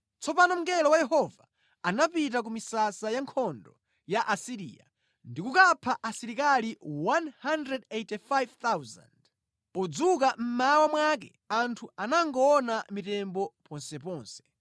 Tsopano mngelo wa Yehova anapita ku misasa ya nkhondo ya ku Asiriya ndikukapha asilikali 185,000. Podzuka mmawa mwake anthu anangoona mitembo ponseponse!